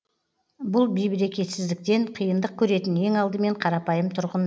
бұл бейберекетсіздіктен қиындық көретін ең алдымен қарапайым тұрғын